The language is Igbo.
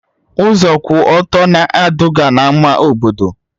Ụzọ kwụ ọtọ na-eduga na ama obodo